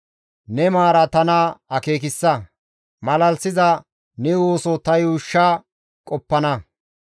Ne maara tana akeekissa; malalisiza ne ooso ta yuushsha qoppana.